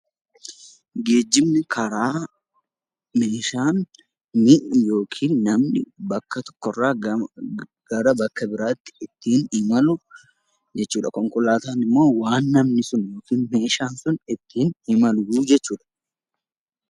Geejjibni karaa meeshaan, mi'i yookiin namni bakka tokko irraa gara bakka biraatti ittiin imalu jechuu dha. Konkolaataan immoo waan namni sun yookiin meeshaan sun ittiin imalu jechuu dha.